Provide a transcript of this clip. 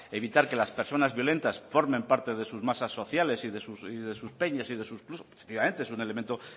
evitar que las personas violentas formen parte de sus masas sociales y de sus peñas y de sus clubs efectivamente es un elemento